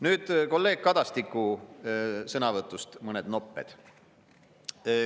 Nüüd kolleeg Kadastiku sõnavõtust mõned nopped.